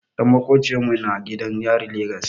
Ɗan maƙociyar mu na gidan yarin Legas.